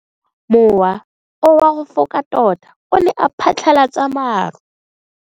Mowa o wa go foka tota o ne wa phatlalatsa maru.